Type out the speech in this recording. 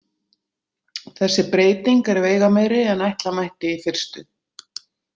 Þessi breyting er veigameiri en ætla mætti í fyrstu.